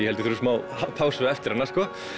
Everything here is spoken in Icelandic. ég þurfi smá pásu eftir hana